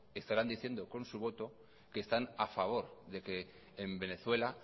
estarán diciendo con su voto que están a favor de que en venezuela